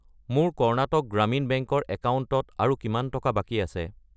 মোৰ কৰ্ণাটক গ্ৰামীণ বেংক ৰ একাউণ্টত আৰু কিমান টকা বাকী আছে?